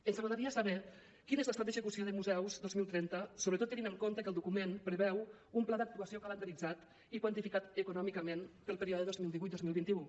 ens agradaria saber quin és l’estat d’execució de museus dos mil trenta sobretot tenint en compte que el document preveu un pla d’actuació calendaritzat i quantificat econòmicament per al període dos mil divuit dos mil vint u